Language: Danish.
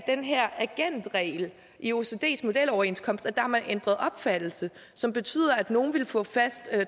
den her agentregel i oecds modeloverenskomster har man ændret opfattelse som betyder at nogle en få fast